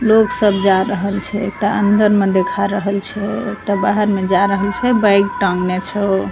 लोग सब जा रहल छै एकटा अंदर में देखा रहल छै एकटा बाहर में जा रहल छै बैग टांगना छो।